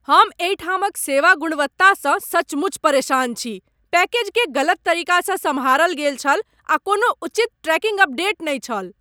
हम एहिठामक सेवा गुणवत्तासँ सचमुच परेशान छी। पैकेजकेँ गलत तरीकासँ सम्हारल गेल छल आ कोनो उचित ट्रैकिंग अपडेट नहि छल!